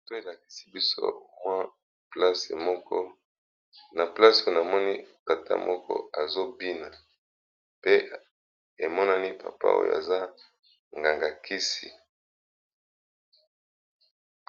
Photo elakisi place moko, papa moko azo bina, pe papa oyo azali nganga ya kisi